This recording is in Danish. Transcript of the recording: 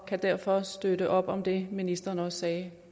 kan derfor støtte op om det ministeren også sagde